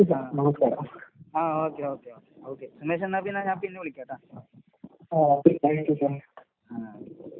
ആഹ് ആഹ് okay okay okay. Okay. ഗണേശന്നപ്പിന്നെ ഞാൻ പിന്നെ വിളിക്കാട്ടാ. ആഹ് ഓക്കെ.